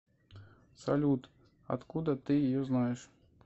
салют откуда ты ее знаешь